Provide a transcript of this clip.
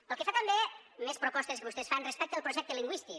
pel que fa també més propostes que vostès fan respecte al projecte lingüístic